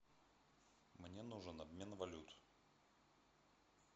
мне нужен обмен валют